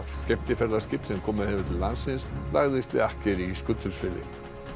skemmtiferðaskip sem komið hefur til landsins lagðist við akkeri í Skutulsfirði